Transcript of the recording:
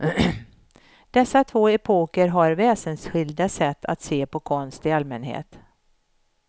Dessa två epoker har väsensskilda sätt att se på konst i allmänhet.